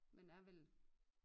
Men er vel